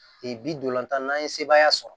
Ee bilanta n'an ye sebaaya sɔrɔ